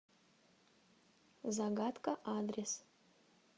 загадка адрес